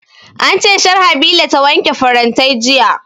An ce Sharhabila ta wanke farantai jiya